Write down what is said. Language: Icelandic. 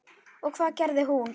Og hvað gerði hún?